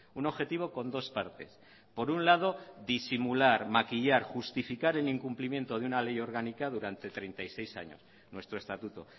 un objetivo con dos partes por un lado disimular maquillar justificar el incumplimiento de una ley orgánica durante treinta y seis años nuestro estatuto